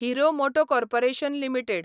hero moto corporation limited